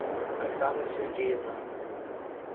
оксана сергеевна